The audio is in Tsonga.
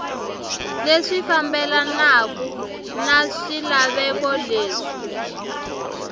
leswi fambelanaka na swilaveko leswi